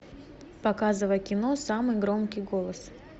показывай кино самый громкий голос